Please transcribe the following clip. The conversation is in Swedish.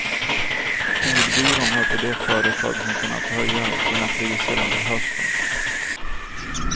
Ordbyrån hör till de företag som har kunnat höja sina priser under hösten.